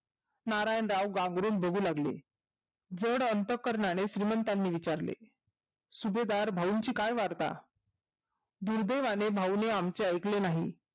नारायणराव बाहेरून बघू लागले थोड अंतकर्णाने श्रीमंतांना विचारले सुभेदार भाऊंची काय वार्ता दुर्देवाने भाऊंने आमचे ऐकले नाही